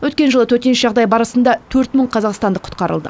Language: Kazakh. өткен жылы төтенше жағдай барысында төрт мың қазақстандық құтқарылды